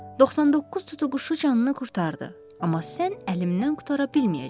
99 tutuquşu canını qurtardı, amma sən əlimdən qurtara bilməyəcəksən.